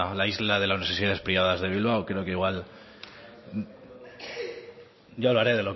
la isla de las universidades privadas de bilbao creo que igual yo hablaré